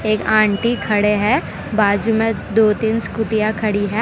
एक आंटी खड़े है। बाजू में दो-तीन स्कूटियां खड़ी है।